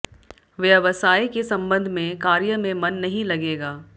व्यवसाय के संबंध में कार्य में मन नहीं लगेगा